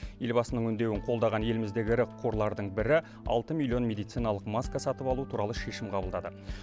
елбасының үндеуін қолдаған еліміздегі ірі қорлардың бірі алты миллион медициналық маска сатып алу туралы шешім қабылдады